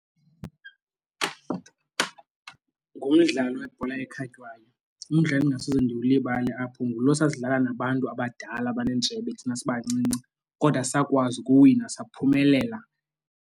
Ngumdlalo webhola ekhatywayo. Umdlalo endingasoze ndiwulibale apho ngulo sasidlala nabantu abadala abaneentshebe thina sibancinci kodwa sakwazi ukuwina saphumelela.